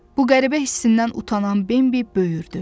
Bu qəribə hissindən utanan Bambi böyürdü.